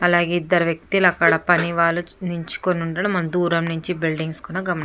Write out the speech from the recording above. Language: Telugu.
అలాగే ఇద్దరు వెక్తులు అక్కడ పనివాళ్ళు నించుకుని ఉండడం మనం దూరం నుంచి బిల్డింగ్స్ కూడా గమనించ --